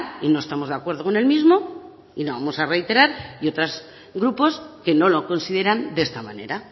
y no estamos de acuerdo con el mismo y lo vamos a reiterar y otros grupos que no lo consideran de esta manera